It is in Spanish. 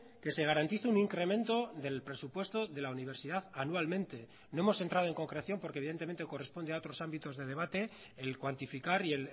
que se garantice un incremento del presupuesto de la universidad anualmente no hemos entrado en concreción porque evidentemente corresponde a otros ámbitos de debate el cuantificar y